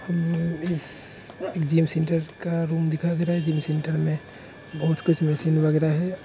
इस gym centre का room दिखा भी रहा है जिम सेंटर में बहुत कुछ मिसिंग लग रहा है।